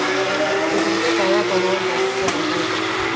тізімді бала балуан жарысы жалғайды